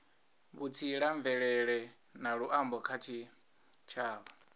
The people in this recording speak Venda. vhutsila mvelele na luambo kha tshitshavha